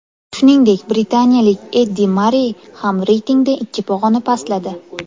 Shuningdek, britaniyalik Endi Marrey ham reytingda ikki pog‘ona pastladi.